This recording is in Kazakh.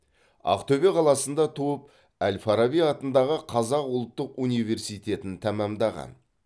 ақтөбе қаласында туып әл фараби атындағы қазақ ұлттық университетін тәмамдаған